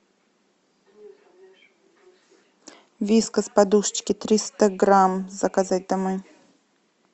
вискас подушечки триста грамм заказать домой